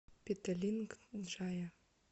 петалинг джая